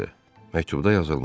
Məktubda yazılmışdı.